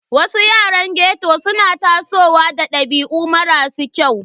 Wasu yaran ghetto suna tasowa da dabi'u marasa kyau.